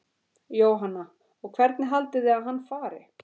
Jóhanna: Og hvernig haldið þið að hann fari?